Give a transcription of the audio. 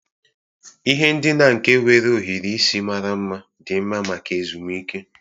Ihe ndina nke nwere ohiri isi mara mma dị mma maka ezumike.